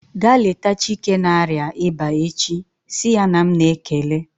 Ga leta Chike na-arịa ịba echi! Si ya na m na-ekele